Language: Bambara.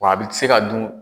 Wa a bɛ se ka dun.